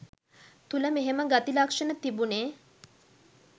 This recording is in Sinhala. තුල මෙහෙම ගති ලක්ෂණ තිබුනෙ